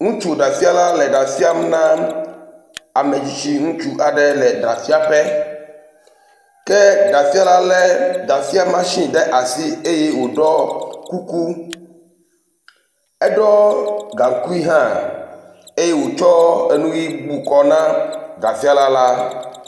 Ŋutsu ɖafiãla le ɖa fiãm na ame tsitsi ŋutsu aɖe le ɖafiãƒe ke ɖafiãla le ɖafiãmashini ɖe asi eye woɖɔ kuku. Eɖɔ gaŋkui hã eye wotsɔ nu ʋi bu kɔ ka ɖafiãla la.